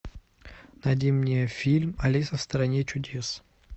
найди мне фильм алиса в стране чудес